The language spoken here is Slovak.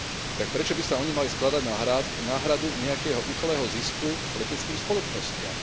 Tak prečo by sa oni mali skladať na náhradu nejakého ušlého zisku leteckým spoločnostiam?